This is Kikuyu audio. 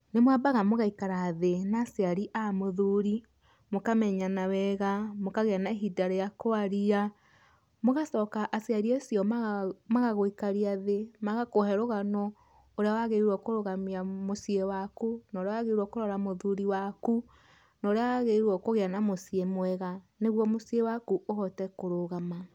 Nĩmwambaga mũgaikara thĩ na aciari a mũthũri, mũkamenyana wega, mũkagĩa na ihinda rĩa kwaria, mũgacoka aciari acio magagũikaria thĩ, magakũhe rũgano ũrĩa wagĩrĩirwo kũrũgamia mũciĩ waku, na ũrĩa wagĩrĩirwo kũrora mũthuri waku, na ũrĩa wagĩrĩirwo kũgia na mũciĩ mwega, nĩguo mũciĩ waku ũhote kũrũgama.